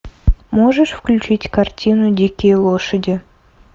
можешь включить картину дикие лошади